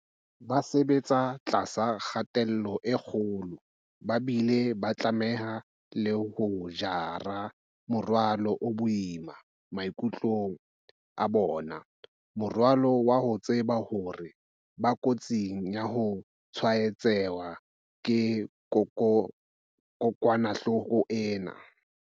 Ba sebetsa tlasa kgatello e kgolo ba bile ba tlameha le ho jara morwalo o boima maikutlong a bona, morwalo wa ho tseba hore ba kotsing ya ho tshwaetswa ke kokwanahloko ena.